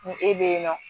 Ni e bɛ yen nɔ